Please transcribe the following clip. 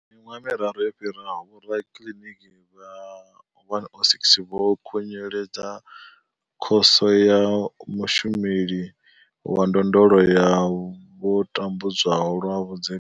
Miṅwaha miraru yo fhiraho, vhorakiliniki vha 106 vho khunyeledza Khoso ya Mushumeli wa Ndondolo ya vho tambudzwaho lwa vhudzekani.